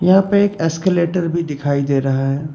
यहां पे एक एस्केलेटर भी दिखाई दे रहा है।